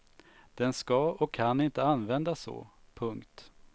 Den ska och kan inte användas så. punkt